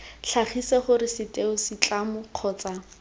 tlhagise gore setheo setlamo kgotsa